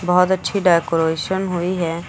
बहोत अच्छी डेकोरेशन हुई है।